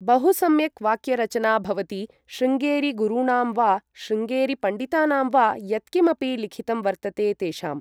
बहु सम्यक् वाक्यरचना भवति शृङ्गेरिगुरूणां वा शृङ्गेरीपण्डितानां वा यत्किमपि लिखितं वर्तते तेषाम् ।